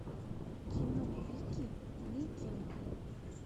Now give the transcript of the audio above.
кино вики викинг